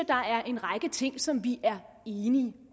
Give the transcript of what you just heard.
der er en række ting som vi er enige